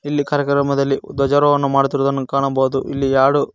ಇಲ್ಲಿ ಕಾರ್ಯಕ್ರಮದಲ್ಲಿ ಧ್ವಜಾರೋಹಣ ಮಾಡುತ್ತಿರುವುದನ್ನು ಕಾಣಬಹುದು ಇಲ್ಲಿ ಯಾಡು--